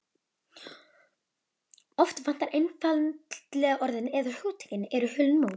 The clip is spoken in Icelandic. Oft vantar einfaldlega orðin- eða hugtökin eru hulin móðu.